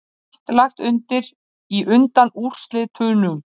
Allt lagt undir í undanúrslitunum